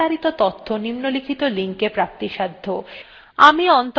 আমি অন্তরা এই tutorialটি অনুবাদ এবং রেকর্ড করেছি